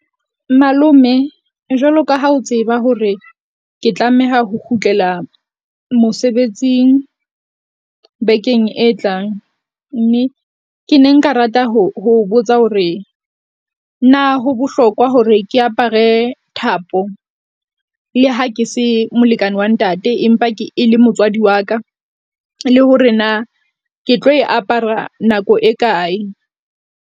Malome jwalo ka ha o tseba hore ke tlameha ho kgutlela mosebetsing bekeng e tlang. Mme ke ne nka rata ho ho botsa hore na ho bohlokwa hore ke apare thapo? Le ha ke se molekane wa ntate, empa ke e le motswadi wa ka le hore na ke tlo e apara nako e kae?